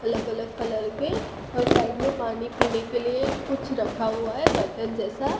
अलग अलग कलर के और साइड में पानी पीने के लिए कुछ रखा हुआ है बर्तन जैसा।